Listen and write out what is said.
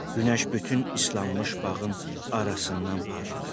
Günəş bütün islanmış bağın arasından parlayırdı.